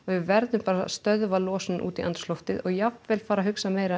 við verðum bara að stöðva losun út í andrúmsloftið og jafnvel fara að hugsa meira